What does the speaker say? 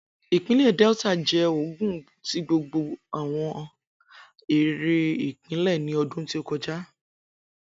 Ipinle Delta jẹ ogun ti gbogbo awọn ere ipinlẹ ni ọdun to kọja